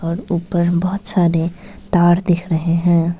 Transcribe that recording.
और ऊपर बहोत सारे तार दिख रहे हैं।